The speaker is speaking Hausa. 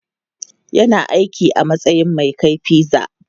Yana aiki a matsayin mai kai pizza.